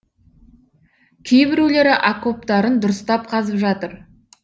кейбіреулері окоптарын дұрыстап қазып жатыр